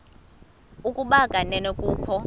ukuba kanene kukho